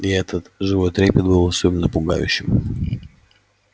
и этот живой трепет был особенно пугающим